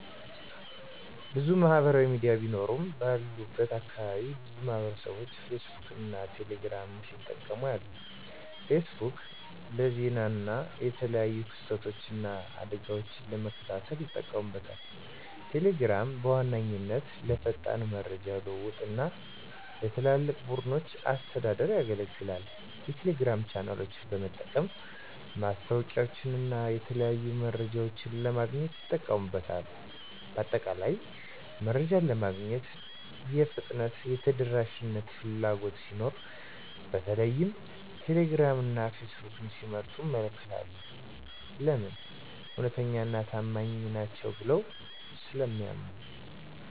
**ብዙ ማህበራዊ ሚዲያ ቢኖሩም፦ ባለሁበት አካባቢ ብዙ ማህበረሰብቦች ፌስቡክን እና ቴሌ ግራምን ሲጠቀሙ አያለሁ፤ * ፌስቡክ: ፌስቡክ ለዜና እና የተለያዩ ክስተቶችን እና አደጋወችን ለመከታተል ይጠቀሙበታል። * ቴሌግራም: ቴሌግራም በዋነኛነት ለፈጣን የመረጃ ልውውጥ እና ለትላልቅ ቡድኖች አስተዳደር ያገለግላል። የቴሌግራም ቻናሎችን በመጠቀም ማስታወቂያወችንና የተለያዩ መረጃዎችን ለማግኘት ይጠቀሙበታል። በአጠቃላይ፣ መረጃ ለማግኘት የፍጥነትና የተደራሽነት ፍላጎት ሲኖር በተለይም ቴሌግራም እና ፌስቡክን ሲመርጡ እመለከታለሁ። *ለምን? እውነተኛና ታማኝ ናቸው ብለው ስለሚያምኑ።